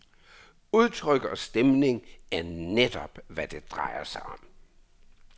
Udtryk og stemning er netop, hvad det drejer sig om.